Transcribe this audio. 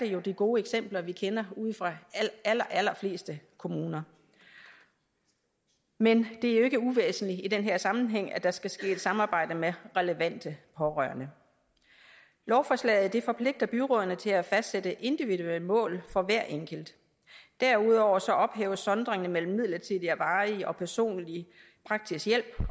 jo de gode eksempler vi kender fra de allerallerfleste kommuner men det er jo ikke uvæsentligt i den her sammenhæng at der skal ske et samarbejde med relevante pårørende lovforslaget forpligter byrådene til at fastsætte individuelle mål for hver enkelt derudover ophæves sondringen mellem midlertidig og varig personlig og praktisk hjælp